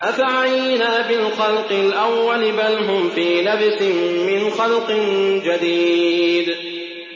أَفَعَيِينَا بِالْخَلْقِ الْأَوَّلِ ۚ بَلْ هُمْ فِي لَبْسٍ مِّنْ خَلْقٍ جَدِيدٍ